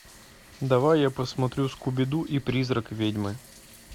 давай я посмотрю скуби ду и призрак ведьмы